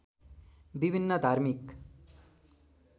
विभिन्न धार्मिक